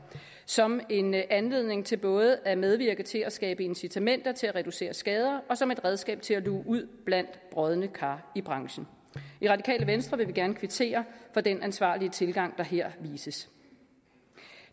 som en anledning til både at medvirke til at skabe incitamenter til at reducere skader og som et redskab til at luge ud blandt brodne kar i branchen i radikale venstre vil vi gerne kvittere for den ansvarlig tilgang der her vises